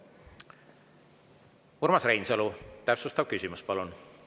Urmas Reinsalu, täpsustav küsimus, palun!